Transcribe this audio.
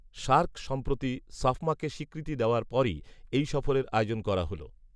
SAARC সম্প্রতি সাফমাকে স্বীকৃতি দেওয়ার পরেই এই সফরের আয়োজন করা হল